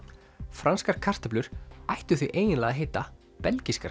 franskar kartöflur ættu því eiginlega að heita